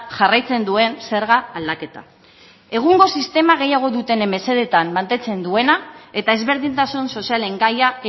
jarraitzen duen zerga aldaketa egungo sistema gehiago dutenen mesedetan mantentzen duena eta ezberdintasun sozialen gaia